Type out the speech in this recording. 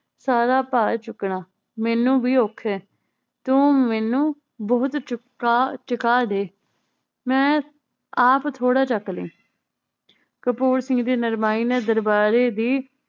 ਸਾਰਾ ਭਰ ਚੁੱਕਣਾ ਮੈਨੂੰ ਵੀ ਔਖਾ ਏ ਤੂ ਮੈਨੂੰ ਬਹੁਤ ਚੁਕਾ ਚਕਾ ਦੇ ਮੈ ਆਪ ਥੋੜਾ ਚੱਕਲੀਂ ਕਪੂਰ ਸਿੰਘ ਦੀ ਨਰਮਾਈ ਨੇ ਦਰਬਾਰੀ ਦੀ